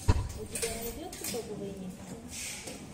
у тебя найдется топовые миксы